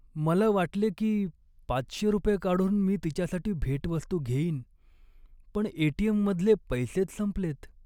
मला वाटले की पाचशे रुपये काढून मी तिच्यासाठी भेटवस्तू घेईन, पण ए.टी.एम.मधले पैसेच संपलेत.